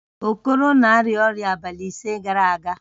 Okoro na-arịa ọrịa abalị ise gara aga